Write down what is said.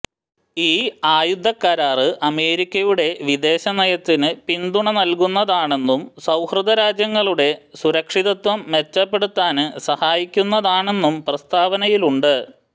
ഈ ആയുധക്കരാര് അമേരിക്കയുടെ വിദേശനയത്തിന് പിന്തുണ നല്കുന്നതാണെന്നും സൌഹൃദരാജ്യങ്ങളുടെ സുരക്ഷിതത്വം മെച്ചപ്പെടുത്താന് സഹായിക്കുന്നതാണെന്നും പ്രസ്താവനയിലുണ്ട്